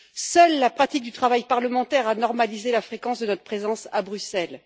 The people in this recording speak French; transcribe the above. Seule la pratique du travail parlementaire a normalisé la fréquence de notre présence à Bruxelles.